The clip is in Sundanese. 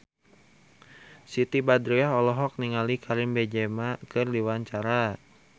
Siti Badriah olohok ningali Karim Benzema keur diwawancara